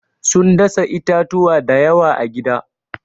Sun dasa itatuwa da yawa a gida.